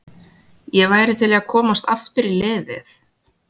Ég væri til í að komast aftur í liðið.